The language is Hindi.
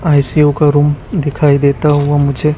आई_सी_यू का रूम दिखाई देता हुआ मुझे--